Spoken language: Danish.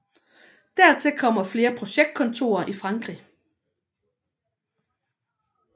Dertil kommer flere projektkontorer i Frankrig